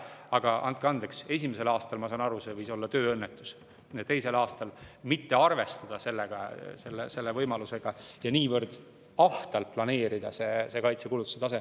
Aga andke andeks, esimesel aastal, ma saan aru, võis see olla tööõnnetus, aga teisel aastal mitte arvestada selle võimalusega ja niivõrd ahtalt planeerida kaitsekulutusi …